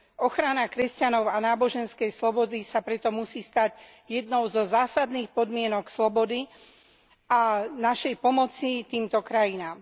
Ochrana kresťanov a náboženskej slobody sa preto musí stať jednou zo zásadných podmienok slobody a našej pomoci týmto krajinám.